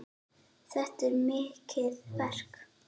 Þetta er mikið verk.